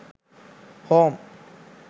home